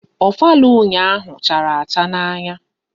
Ofala ụnyaahụ chara acha n'anya